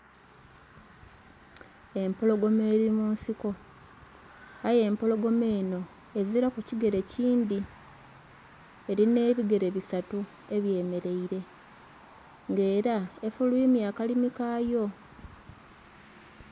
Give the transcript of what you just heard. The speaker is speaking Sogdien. Empologoma eri mu nsiko aye empologoma enho ezilaku kigere kindhi, erinha ebigere busatu ebye mereire nga era efulwimya akalimu kaayo.